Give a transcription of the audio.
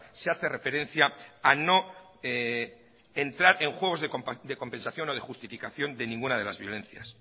se hace referencia a no entrar en juegos de compensación o de justificación de ninguna de las violencias